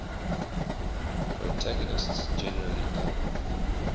protagonists generally come